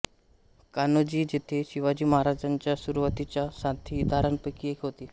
कान्होजी जेधे शिवाजी महाराजांच्या सुरुवातीच्या साथीदारांपैकी एक होते